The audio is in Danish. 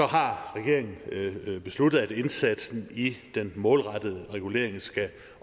har regeringen besluttet at indsatsen i den målrettede regulering skal